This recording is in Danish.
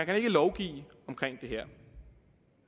kan lovgive omkring det her